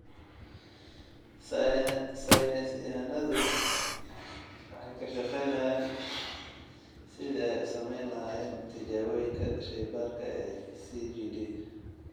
Saynis yahanadu waxay ka shaqaynayaan sidii ay u samayn lahaayeen tijaabooyinka shaybaadhka ee CJD.